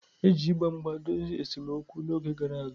E ji mgba mgba dozie esemokwu n'oge gara aga.